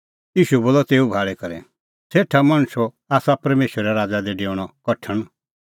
ईशू बोलअ तेऊ भाल़ी करै सेठा मणछो आसा परमेशरे राज़ा दी डेऊणअ कठण